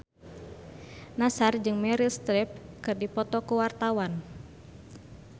Nassar jeung Meryl Streep keur dipoto ku wartawan